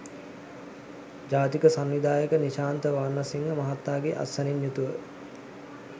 ජාතික සංවිධායක නිශාන්ත වර්ණසිංහ මහතාගේ අත්සනින් යුතුව